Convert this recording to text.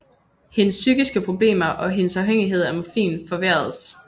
Hendes psykiske problemer og hendes afhængighed af morfin forværredes